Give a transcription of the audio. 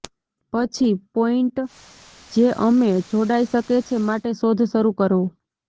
પછી પોઈન્ટ જે અમે જોડાઈ શકે છે માટે શોધ શરૂ કરો